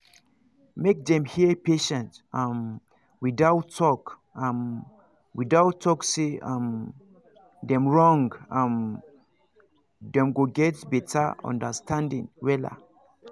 make them hear patients um without talk um without talk say um dem wrong um dem go get better understanding wella